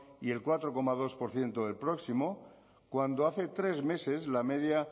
y el cuatro coma dos por ciento del próximo cuando hace tres meses la media